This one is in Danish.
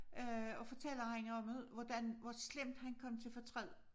Øh og fortæller han om det hvordan hvor slemt han kom til fortræd